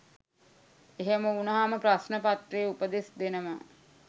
එහෙම වුණහම ප්‍රශ්න පත්‍රයේ උපදෙස් දෙනවා